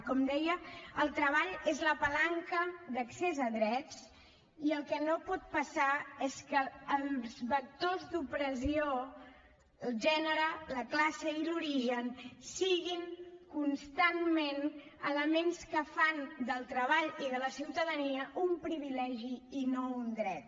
com deia el treball és la palanca d’accés a drets i el que no pot passar és que els vectors d’opressió el gènere la classe i l’origen siguin constantment elements que fan del treball i de la ciutadania un privilegi i no un dret